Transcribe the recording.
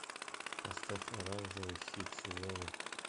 поставь оранжевый хит сезона